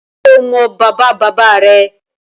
Ṣé o mọ bàbáabàbáa rẹ?